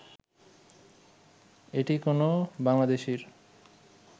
এটি কোনো বাংলাদেশীর